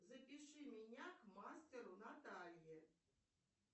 запиши меня к мастеру наталье